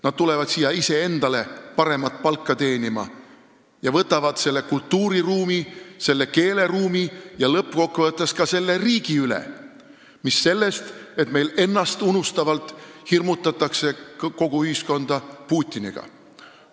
Nad tulevad siia iseendale paremat palka teenima ning võtavad selle kultuuriruumi, keeleruumi ja lõppkokkuvõttes ka selle riigi üle, mis sellest, et meil ennastunustavalt hirmutatakse kogu ühiskonda Putiniga.